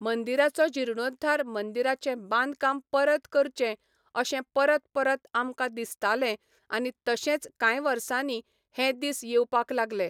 मंदिराचो जिर्णोद्वार मंदिराचें बांदकाम परत करचें अशें परत परत आमकां दिसतालें आनी तशेंच काय वर्सांनी हे दिस येवपाक लागले